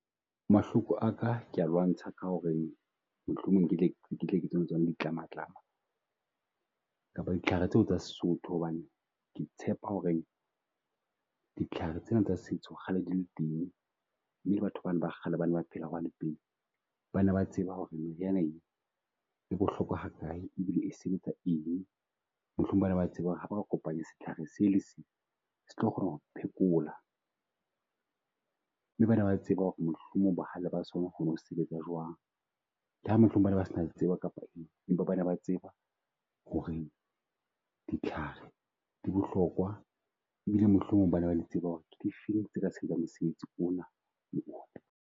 Mahloko a ka ke a lwantsha ka ho re mohlomong ketle ketle ke tsona ditlamatlama kapa ditlhare tseo tsa Sesotho. Hobane ke tshepa ho re ditlhare tsena tsa setso kgale di le teng mme batho ba na ba kgale ba ne ba phela hwane pele, ba ne ba tseba ho re meriana ee, e bohlokwa ha kae e bile e sebetsa eng. Mohlomong ba ne ba tseba ho re ha ba kopanya setlhare se le se. Se tlo kgona ho phekola, mme ba ne ba tseba ho re mohlomong bohale ba sona ho sebetsa jwang. Le hamohlomong ba ne ba se tsebo kapa eng, empa ba ne ba tseba ho re ditlhare di bohlokwa. E bile mohlomong ba ne ba di tseba ho re ke difeng tse ka sebetsa mosebetsi ona le ona.